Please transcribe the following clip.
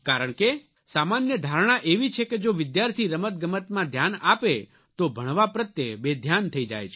કારણ કે સામાન્ય ધારણા એવી છે કે જો વિદ્યાર્થી રમતગમતમાં ધ્યાન આપે તો ભણવા પ્રત્યે બેધ્યાન થઇ જાય છે